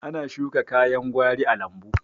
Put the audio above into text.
Ana shuka kayan gwari a lambu